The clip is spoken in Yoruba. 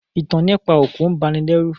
Ìtàn nípa òkú bani lẹ́rù